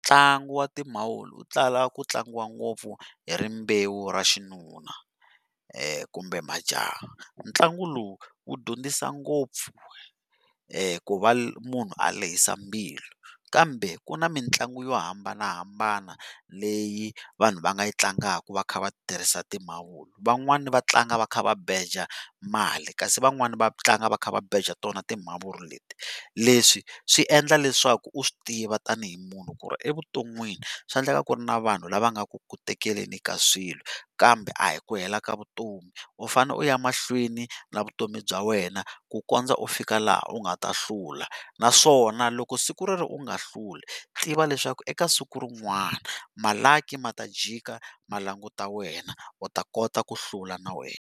Ntlangu wa timavuri wu tala ku tlangiwa ngopfu hi rimbewu ra xinuna, kumbe majaha ntlangu lowu wu dyondzisa ngopfu ku va munhu a lehisa mbilu, kambe ku na mitlangu yo hambanahambana leyi vanhu va nga yi tlangaka va kha va tirhisa timavuri, van'wani va tlanga va kha va beja mali, kasi van'wani va tlanga va kha va beja tona timavuri leti leswi swi endla leswaku u swi tiva tanihi munhu ku ri evutonwini swa endleka ku ri na vanhu lava nga ku ku tekeleni ka swilo, kambe a hi ku hela ka vutomi u fane u ya emahlweni na vutomi bya wena ku kondza u fika laha u nga ta hlula naswona loko siku rero u nga hluli tiva leswaku eka siku rin'wana ma-lucky ma ta jika ma languta wena u ta kota ku hlula na wena.